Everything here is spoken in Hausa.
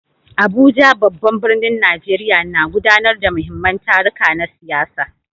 Abuja, babban birnin Najeriya, na gudanar da muhimman taruka na siyasa.